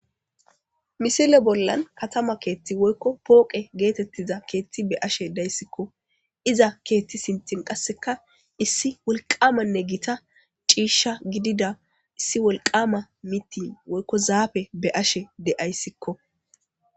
Missile bollan katamma keththi woykko pooqe beashe dayssiko iiza keththa sinththan qasse issi wolqammanne giita cishsha gidida issi wolqamma mitti woykko zaaffe be'ashshe deayssikko.